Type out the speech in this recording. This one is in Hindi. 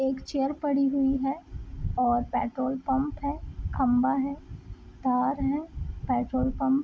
एक चेयर पड़ी हुई है और पेट्रोल पम्प है खम्बा है तार है पेट्रोल पंप --